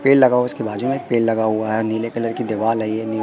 पेड़ लगा हुआ है इसके बाजू में पेड़ लगा हुआ है नीले कलर की दीवाल है ये।